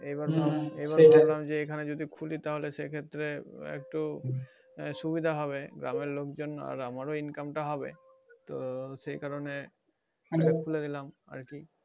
আবার এখানে যদি খুলো তাহলে সেই ক্ষেত্রে একটু সুবিধা হবে গ্রাম আর লোক জন আর আমারও একটু income তা হবে তো সেই কারণে খুলে দিলাম আরকি